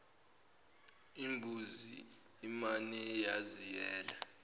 imbuzi umane waziyela